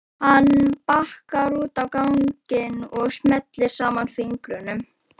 Hann bakkar út á ganginn og smellir saman fingrunum.